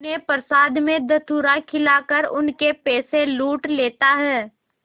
उन्हें प्रसाद में धतूरा खिलाकर उनके पैसे लूट लेता है